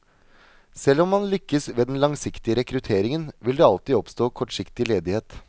Selv om man lykkes ved den langsiktige rekrutteringen, vil det alltid oppstå kortsiktig ledighet.